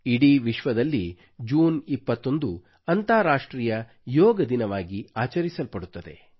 ಇಡೀ ವಿಶ್ವದಲ್ಲಿ ಜೂನ್ 21 ಅಂತರ್ರಾಷ್ಟ್ರೀಯ ಯೋಗ ದಿನವಾಗಿ ಆಚರಿಸಲ್ಪಡುತ್ತದೆ